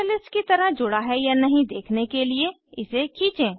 catalyst की तरह जुड़ा है या नहीं देखने के लिए इसे खींचें